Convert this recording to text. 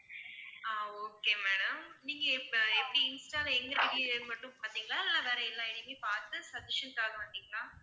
ஆஹ் okay madam நீங்கஇப்ப எப்படி insta ல எங்க ID மட்டும் பார்த்தீங்களா இல்ல வேற எல்லா ID யும் பார்த்து suggestion க்காக வந்தீங்களா?